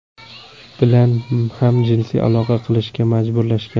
bilan ham jinsiy aloqa qilishga majburlashgan.